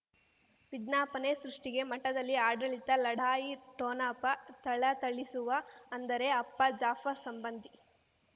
ವಿಜ್ಞಾಪನೆ ಸೃಷ್ಟಿಗೆ ಮಠದಲ್ಲಿ ಆಡಳಿತ ಲಢಾಯಿ ಠೊಣಪ ಥಳಥಳಿಸುವ ಅಂದರೆ ಅಪ್ಪ ಜಾಫರ್ ಸಂಬಂಧಿ